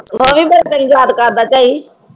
ਉਹ ਵੀ ਫਿਰ ਕਈ ਯਾਦ ਕਰਦਾ ਝਾਈ